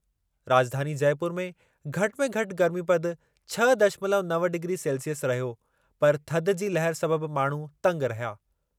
राजधानी जयपुर में घटि में घटि गर्मीपदु छह दशमलव नव डिग्री सेल्सिअस रहियो पर थधि जी लहर सबबि माण्हू तंगि रहिया।